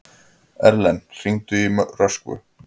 Erlen, hringdu í Röskvu.